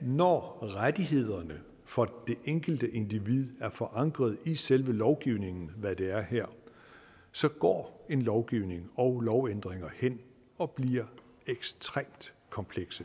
når rettighederne for det enkelte individ er forankret i selve lovgivningen hvad de er her så går en lovgivning og lovændringer hen og bliver ekstremt komplekse